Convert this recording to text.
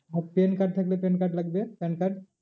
আর PAN card থাকলে PAN card লাগবে PAN card